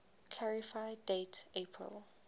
clarify date april